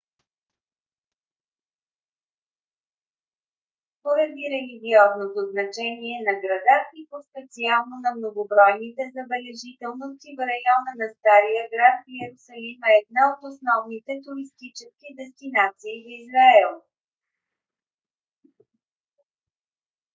поради религиозното значение на града и по-специално на многобройните забележителности в района на стария град йерусалим е една от основните туристически дестинации в израел